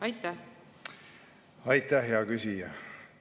Aitäh, hea küsija!